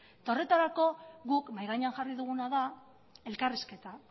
eta horretarako guk mahai gainean jarri duguna da elkarrizketa